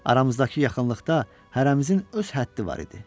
Aramızdakı yaxınlıqda hərəmizin öz həddi var idi.